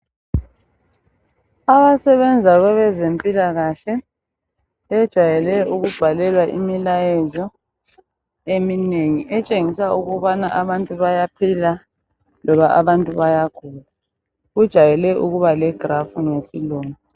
Abasebenza kwabezempilakahle bejayele ukubhalelwa imilayezo eminengi etshengisa ukubana abantu bayaphila loba abantu bayagula. kujayele ukubale graph ngesilungu.